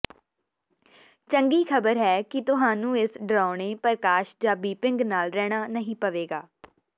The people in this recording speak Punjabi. ਚੰਗੀ ਖ਼ਬਰ ਹੈ ਕਿ ਤੁਹਾਨੂੰ ਇਸ ਡਰਾਉਣੇ ਪ੍ਰਕਾਸ਼ ਜਾਂ ਬੀਪਿੰਗ ਨਾਲ ਰਹਿਣਾ ਨਹੀਂ ਪਵੇਗਾ